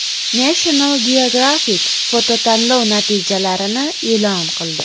National Geographic fototanlov natijalarini e’lon qildi.